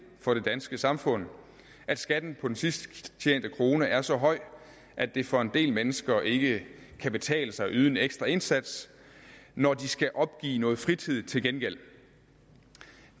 for det danske samfund at skatten på den sidst tjente krone er så høj at det for en del mennesker ikke kan betale sig at yde en ekstra indsats når de skal opgive noget fritid til gengæld